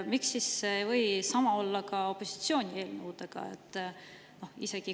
Miks ei või sama olla ka opositsiooni eelnõudega?